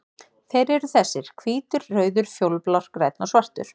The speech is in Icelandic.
Þeir eru þessir: Hvítur, rauður, fjólublár, grænn og svartur.